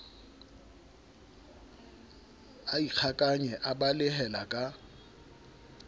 a ikgakanye a balehela ka